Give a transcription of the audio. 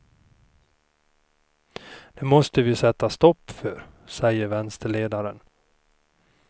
Det måste vi sätta stopp för, säger vänsterledaren.